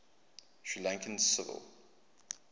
sri lankan civil